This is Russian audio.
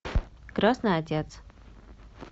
крестный отец